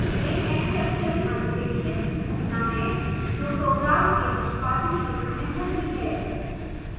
एक exception अनपेक्षित घटना है जो program के निष्पादन के समय होती है